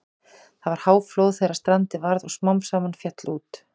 Það var háflóð þegar strandið varð og smám saman féll út.